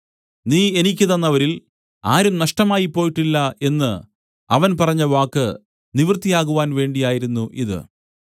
നീ എനിക്ക് തന്നവരിൽ ആരും നഷ്ടമായിപ്പോയിട്ടില്ല എന്നു അവൻ പറഞ്ഞവാക്ക് നിവൃത്തിയാകുവാൻ വേണ്ടിയായിരുന്നു ഇത്